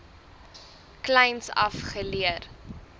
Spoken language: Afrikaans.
kleins af geleer